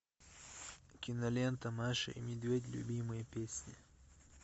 кинолента маша и медведь любимые песни